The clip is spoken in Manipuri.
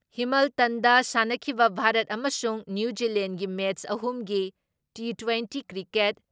ꯍꯤꯃꯜꯇꯟꯗ ꯁꯥꯟꯅꯈꯤꯕ ꯚꯥ꯭ꯔꯠ ꯑꯃꯁꯨꯡ ꯅ꯭ꯌꯨ ꯖꯤꯂꯦꯟꯒꯤ ꯃꯦꯠꯁ ꯑꯍꯨꯝꯒꯤ ꯇꯤꯇ꯭ꯋꯦꯟꯇꯤ ꯀ꯭ꯔꯤꯀꯦꯠ